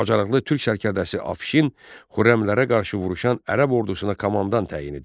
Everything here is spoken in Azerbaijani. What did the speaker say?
Bacarıqlı türk sərkərdəsi Afşin Xürrəmlərə qarşı vuruşan ərəb ordusuna komandan təyin edildi.